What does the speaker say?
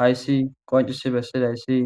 hayssi qoncisi bessid hayssi